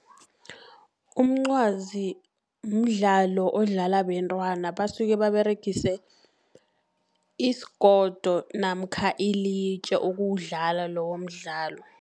Umncwazi mdlalo odlalwa bentwana, basuke baberegise isigodo namkha ilitje ukuwudlala lowo mdlalo.